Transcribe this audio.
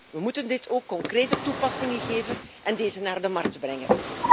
We moeten het ook concrete toepassingen geven en deze op de markt brengen.